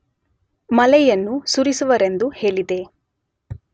ಮಳೆಯನ್ನು ಸುರಿಸುವರೆಂದು ಹೇಳಿದೆ.